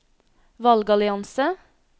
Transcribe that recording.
valgallianse